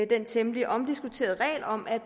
den temmelig omdiskuterede regel om at